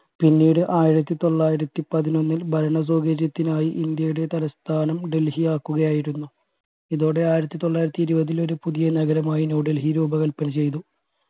പിന്നീട് ആയിരത്തി തൊള്ളായിരത്തി പതിനൊന്നിൽ ഭരണ സൗകര്യത്തിനായി ഇന്ത്യയുടെ തലസ്ഥാനം ഡെൽഹി ആക്കുകയായിരുന്നു ഇതോടെ ആയിരത്തി തൊള്ളായിരത്തി ഇരുവതിൽ ഒരു പുതിയ നഗരമായി ന്യൂ ഡെൽഹി രൂപകൽപന ചെയ്തു